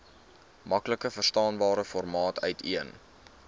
maklikverstaanbare formaat uiteen